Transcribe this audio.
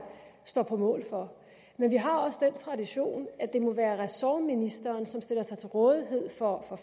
står på mål for men vi har også den tradition at det må være ressortministeren som stiller sig til rådighed for